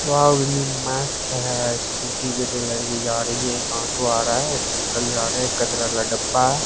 Wow कितनी मस्त है स्कूटी पे दो लड़की जा रही है एक ऑटो आ रहा है एक अंकल जा रहे है एक कचरा वाला डिब्बा है।